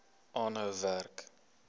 aanhou werk